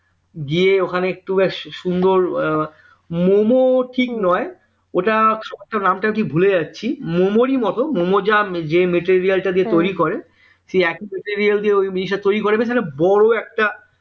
গিয়ে ওখানে একটু বেশি সুন্দর মম ঠিক নয় ওইটা নামটা কি ভুলে যাচ্ছি মেমোরি মত মম যা material টা দিয়ে তৈরি করে সে একই material দিয়ে ওই জিনিসটা তৈরি করে এবার সেটা বড় একটা